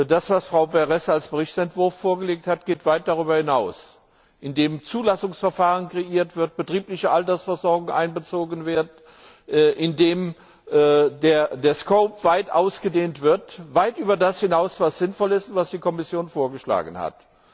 Das, was Frau Berès als Berichtsentwurf vorgelegt hat, geht weit darüber hinaus, indem ein Zulassungsverfahren geschaffen wird, betriebliche Altersversorgung einbezogen wird und indem der Umfang weit ausgedehnt wird, weit über das hinaus, was sinnvoll ist und was die Kommission vorgeschlagen hat.